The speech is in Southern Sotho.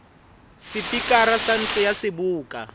sepikara sa ntlo ya seboka